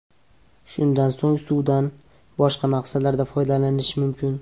Shundan so‘ng suvdan boshqa maqsadlarda foydalanish mumkin.